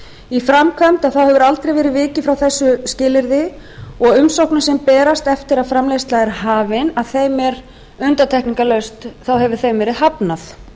í framkvæmd hefur aldrei verið vikið frá þessu skilyrði og umsóknum sem berast eftir að framleiðsla er hafin er undantekningarlaust hafnað